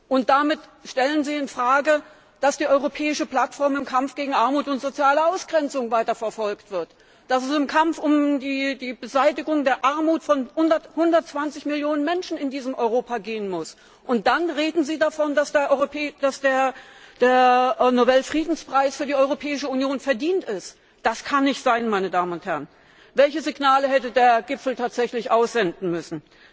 Und damit stellen Sie in Frage, dass die Europäische Plattform im Kampf gegen Armut und soziale Ausgrenzung weiter verfolgt wird, dass es im Kampf um die Beseitigung der Armut von 120 Millionen Menschen in diesem Europa gehen muss. Und dann reden Sie davon, dass der Friedensnobelpreis für die Europäische Union verdient ist. Das kann nicht sein! Welche Signale hätte der Gipfel tatsächlich aussenden müssen?